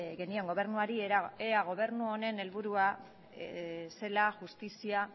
genion gobernuari ea gobernu honen helburua zela justizia